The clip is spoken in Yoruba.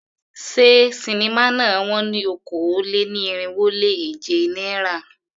Ṣé sinimá náà wón ní okòó-lé-ní-irínwó-lé-èje náírà?